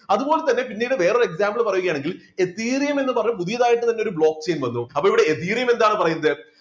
അതുപോലെതന്നെ പിന്നീട് വേറൊരു example പറയുകയാണെങ്കിൽ ethereum എന്ന് പറയുന്ന പുതിയതായിട്ട് തന്നെ ഒരു block chain വന്നു അപ്പൊ ഇവിടെ ethereum എന്താണ് പറയുന്നത്